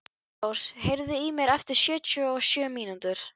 Þyrnirós, heyrðu í mér eftir sjötíu og sjö mínútur.